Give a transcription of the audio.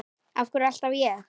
Af hverju alltaf ég?